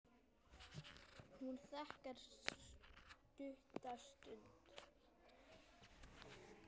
Hún þagnar stutta stund.